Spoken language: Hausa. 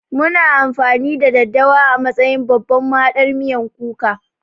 Muna amfani da daddawa a matsayin babban mahaɗar miyan kuka